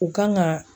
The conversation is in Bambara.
U kan ka